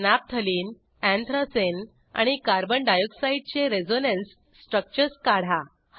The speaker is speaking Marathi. नॅफ्थलीन अँथ्रासीन आणि कार्बन डाय ऑक्साईडचे रेझोनन्स स्ट्रक्चर्स काढा